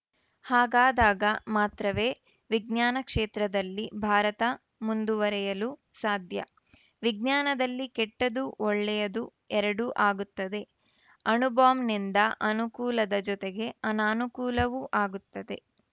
ಹಾಗಾದಾಗ ಮಾತ್ರವೇ ವಿಜ್ಞಾನ ಕ್ಷೇತ್ರದಲ್ಲಿ ಭಾರತ ಮುಂದುವರಿಯಲು ಸಾಧ್ಯ ವಿಜ್ಞಾನದಲ್ಲಿ ಕೆಟ್ಟದ್ದು ಒಳ್ಳೆಯದು ಎರಡೂ ಆಗುತ್ತದೆ ಅಣುಬಾಂಬ್‌ನಿಂದ ಅನುಕೂಲದ ಜೊತೆಗೆ ಅನಾನುಕೂಲವೂ ಆಗುತ್ತದೆ